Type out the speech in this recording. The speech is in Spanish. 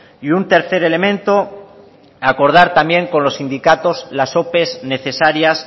y un tercer elemento acordar también con los sindicatos las ope necesarias